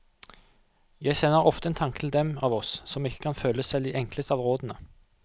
Jeg sender ofte en tanke til dem av oss som ikke kan følge selv de enkleste av rådene.